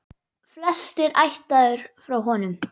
Flestir ættaðir frá honum.